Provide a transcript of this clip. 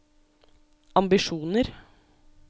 ambisjoner